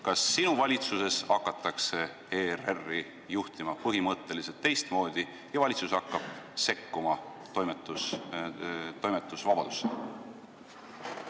Kas sinu valitsuses hakatakse ERR-i juhtima põhimõtteliselt teistmoodi ja valitsus hakkab sekkuma toimetusvabadusse?